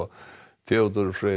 Theodór Freyr